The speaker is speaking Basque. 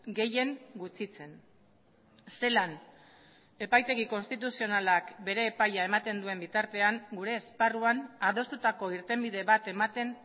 gehien gutxitzen zelan epaitegi konstituzionalak bere epaia ematen duen bitartean gure esparruan adostutako irtenbide bat ematen